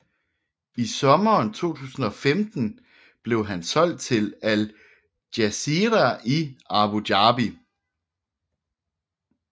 I sommeren 2015 blev han solgt til Al Jazira i Abu Dhabi